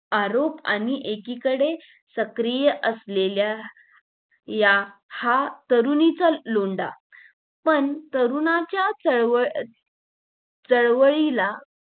आरोप आणि एकीकडे सक्रिय असलेल्या या ह्या तरुणीचा लोंढा पण तरुणाच्या चळवळ चळवळीला